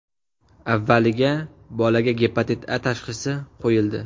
Avvaliga bolaga Gepatit A tashxisi qo‘yildi.